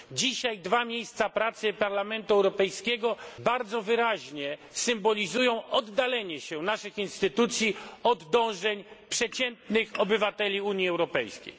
Dzisiaj dwa miejsca pracy Parlamentu Europejskiego bardzo wyraźnie symbolizują oddalenie się naszych instytucji od dążeń przeciętnych obywateli Unii Europejskiej.